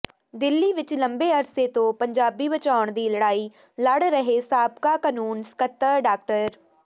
ਦਿੱਲੀ ਵਿਚ ਲੰਬੇ ਅਰਸੇ ਤੋਂ ਪੰਜਾਬੀ ਬਚਾਉਣ ਦੀ ਲੜਾਈ ਲੜ ਰਹੇ ਸਾਬਕਾ ਕਾਨੂੰਨ ਸਕੱਤਰ ਡਾ